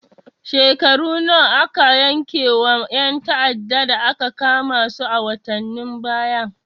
Shekaru nawa aka yanke ma ƴan ta'addan da aka kama su a watanen baya?